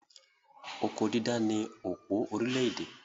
Oko dídá ni òpó orílẹ̀-èdè.